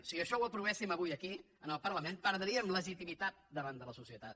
si això ho aprovéssim avui aquí al parlament perdríem legitimitat davant de la societat